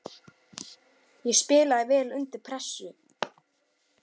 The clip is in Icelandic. Ég spilaði vel undir pressu.